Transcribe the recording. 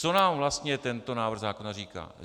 Co nám vlastně tento návrh zákona říká?